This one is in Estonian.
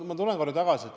Ma tulen korra tagasi.